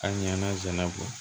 A ɲanazɛn bɔ